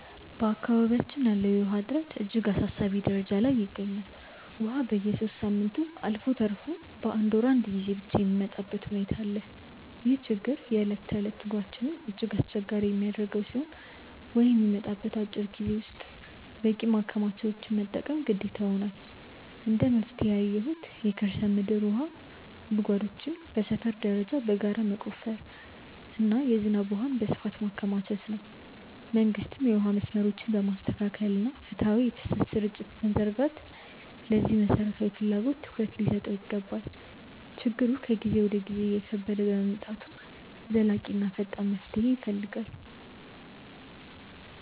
በአካባቢያችን ያለው የውሃ እጥረት እጅግ አሳሳቢ ደረጃ ላይ ይገኛል፤ ውሃ በየሦስት ሳምንቱ አልፎ ተርፎም በአንድ ወር አንዴ ብቻ የሚመጣበት ሁኔታ አለ። ይህ ችግር የዕለት ተዕለት ኑሯችንን እጅግ አስቸጋሪ የሚያደርገው ሲሆን፣ ውሃ በሚመጣበት አጭር ጊዜ ውስጥ በቂ ማከማቻዎችን መጠቀም ግዴታ ሆኗል። እንደ መፍትሄ ያየሁት የከርሰ ምድር ውሃ ጉድጓዶችን በሰፈር ደረጃ በጋራ መቆፈርና የዝናብ ውሃን በስፋት ማከማቸት ነው። መንግስትም የውሃ መስመሮችን በማስተካከልና ፍትሃዊ የፍሰት ስርጭት በመዘርጋት ለዚህ መሠረታዊ ፍላጎት ትኩረት ሊሰጠው ይገባል። ችግሩ ከጊዜ ወደ ጊዜ እየከበደ በመምጣቱ ዘላቂና ፈጣን መፍትሄ ይፈልጋል።